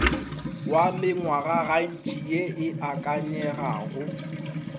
wa mengwagantši ye e akanyegago